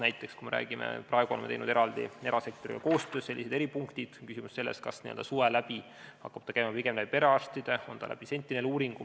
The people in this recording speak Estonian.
Näiteks, praegu oleme teinud erasektoriga koostöös sellised eripunktid ja nüüd on küsimus selles, kas see hakkab suvel käima pigem läbi perearstide või läbi sentinel-uuringu.